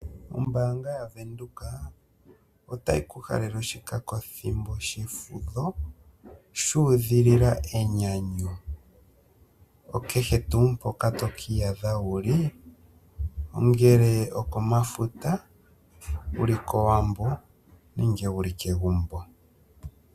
Ombaanga ya Venduka otayi ku halele oshikako thimbo shefudho shu udhilila enyanyu. Okehe tuu mpoka toka iyadha wuli, ongele okomafuta, owuli kowambo nenge wuli kegumbo.